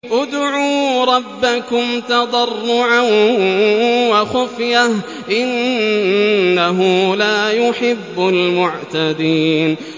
ادْعُوا رَبَّكُمْ تَضَرُّعًا وَخُفْيَةً ۚ إِنَّهُ لَا يُحِبُّ الْمُعْتَدِينَ